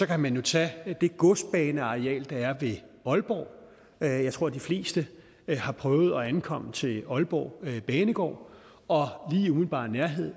kan man tage det godsbaneareal der er ved aalborg jeg jeg tror de fleste har prøvet at ankomme til aalborg banegård og lige i umiddelbar nærhed